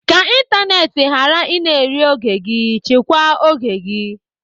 Ka ịntanetị ghara ị na-eri oge gị, chịkwa oge gị.